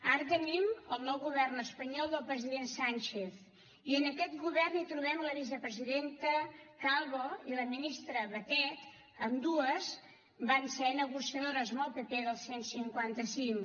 ara tenim el nou govern espanyol del president sánchez i en aquest govern hi trobem la vicepresidenta calvo i la ministra batet ambdues van ser negociadores amb el pp del cent i cinquanta cinc